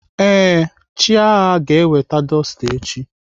Ee, Chiaga ga-eweta dọsta echi.